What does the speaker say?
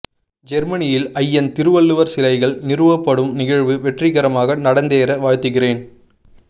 ஜெர்மனியில் ஐயன் திருவள்ளுவர் சிலைகள் நிறுவப்படும் நிகழ்வு வெற்றிகரமாக நடந்தேற வாழ்த்துகிறேன்